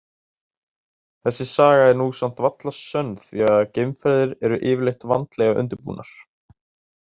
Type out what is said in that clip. Þessi saga er nú samt varla sönn því að geimferðir eru yfirleitt vandlega undirbúnar.